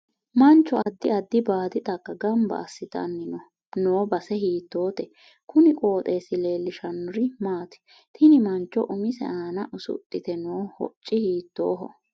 Mancho addi addi baadi xagga ganba asitanni noo base hiitoote kuni qoxeesi leelishanori maati tini mancho umise aana usudhite noo hocci hiitooho